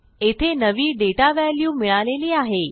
येथे नवी data value मिळालेली आहे